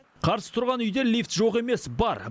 қарсы тұрған үйде лифт жоқ емес бар